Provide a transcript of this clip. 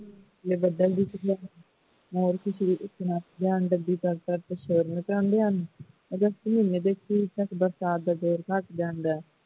ਜੇ ਬਦਲ ਦੀ ਮੋਰ ਖੁਸ਼ੀ ਦੇ ਨਾਲ ਸ਼ੋਰ ਮਚਾਉਂਦੇ ਹਨ august ਮਹੀਨੇ ਤੱਕ ਬਰਸਾਤ ਦਾ ਜ਼ੋਰ ਘਟ ਜਾਂਦਾ ਹੈ